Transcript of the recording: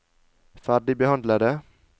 ferdigbehandlede